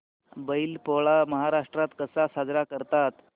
बैल पोळा महाराष्ट्रात कसा साजरा करतात